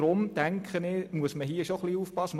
Deshalb muss man hier etwas aufpassen.